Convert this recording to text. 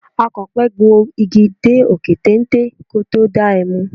Akọ̀pẹ gun igi dé òkè téńté kí ó tó da ẹmu.